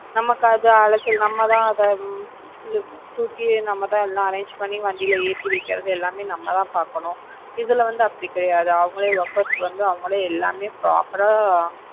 நமக்கு அது அலைச்சல் நம்ம அத ஹம் தூக்கி நம்ம தான் எல்லாம் arrange பண்ணி வண்டியில எத்தி வைக்கிறது எல்லாமே நம்ம தான் பாக்கணும். இதுல வந்து அப்படி கிடையாது. அவங்களே workers வந்து அவங்களே எல்லாமே proper ஆ